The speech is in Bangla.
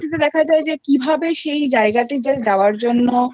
তে দেখা যায় যে কিভাবে সেই জায়গাতে যাওয়ার জন্য